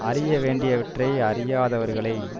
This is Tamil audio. அறிய வேண்டியவற்றை அறியாதவர்களை